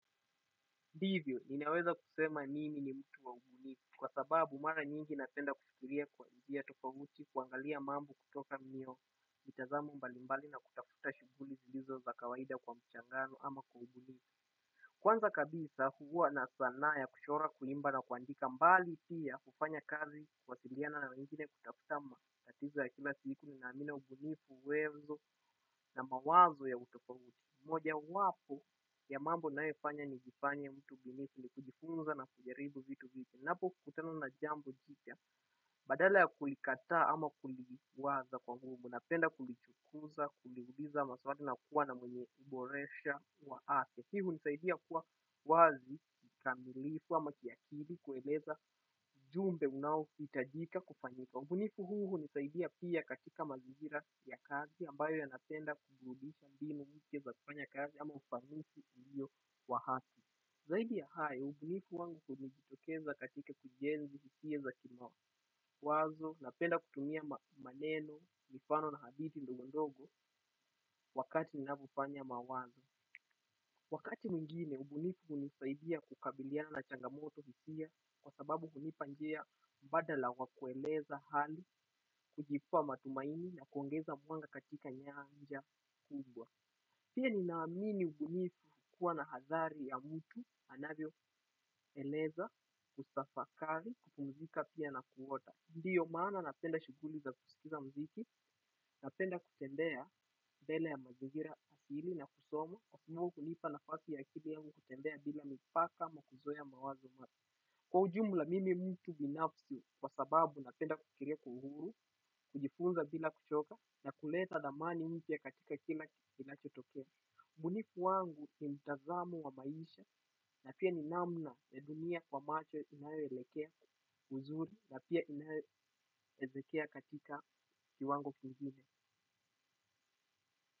Ndivyo ninaweza kusema mimi ni mtu wa ubunifu kwa sababu mara nyingi napenda kufikiria kwa njia tofauti kuangalia mamb kutoka mitazamu mbalimbali na kutafuta shughuli zilizo za kawaida kwa mchangano ama kwa ubunifu. Kwanza kabisa huwa na sanaa ya kuchora kuimba na kuandika mbali pia kufanya kazi kuwasiliana na wengine kutafutama. Tatizo ya kila siku na nina ubunifu uwezo na mawazo ya utofauti. Mojawapo ya mambo nayofanya ni jifanye mtu mbinifu ni kujifunza na kujaribu vitu vipya, napo kutana na jambo jipya badala ya kulikataa ama kuliwaza kwa nguvu. Napenda kulichukuza, kuliuliza, maswali na kuwa na mwenye kuboresha wa wa afya. Pia hunisaidia kuwa wazi kikamilifu ama kiakili kueleza ujumbe unaohitajika kufanyika. Ubunifu huu hunisaidia pia katika mazingira ya kazi ambayo yanatenda kufundisha mbinu mpya za kufanya kazi ama ufanisi ulio wa haki. Zaidi ya hayo, ubunifu wangu hujitokeza katika ujenzi hisia za kimawazo na penda kutumia maneno mifano na hadithi ndogo ndogo wakati ninafuponya mawazo. Wakati mwingine, ubunifu hunisaidia kukabiliana changamoto hisia kwa sababu hunipa njia badala kwa kueleza hali kujipea matumaini na kuongeza mwanga katika nyanja kubwa. Pia ninaamini ubunifu hukua na hadhari ya mtu anavyoeleza kutafakari kukupumzika pia na kuota. Ndiyo maana napenda shughuli za kusikiza mziki, napenda kutembea mbele ya mazingira asili na kusoma, kwa sababu hunipa nafasi ya akili yangu kutembea bila mipaka ama kuzoea mawazo mapya. Kwa ujumla mimi mtu binafsi kwa sababu napenda kufikiria kwa uhuru, kujifunza bila kuchoka, na kuleta thamani mpya katika kila kitu kinachotokea ubunifu wangu ni mtazamo wa maisha, na pia ni namna ya dunia kwa macho inayoelekea vizuri, na pia inayoelekea katika kiwango kingine.